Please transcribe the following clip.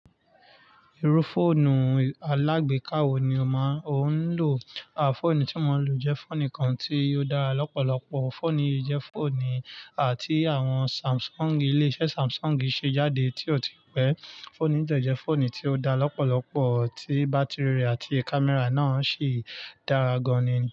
Irú fọ́ọ̀nù alágbèéká wo ni o máa o ń lò? A fọ́ọ̀nù tí mo ń lò jẹ́ fọ́ọ̀nù kan tí ó dára lọ́pọ̀lọpọ̀. Fọ́ọ̀nù yìí jẹ́ fọ́ọ̀nù àti àwọn Samsung, ilé iṣẹ́ Samsung ṣe jáde tí ó ti pẹ́. Fọ́ọ̀nù yìí jẹ́ fọ́ọ̀nù tí ó dára lọ́pọ̀lọpọ̀, tí bátìrì rẹ̀ àti kámẹ́rà náà sì dára gan-an ni.